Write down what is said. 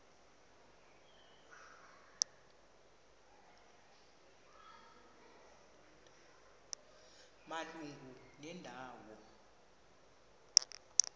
malunga nenda wo